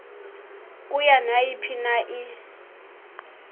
kuyo nayiphina i